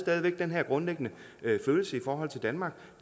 havde den her grundlæggende følelse i forhold til danmark